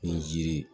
Ni jiri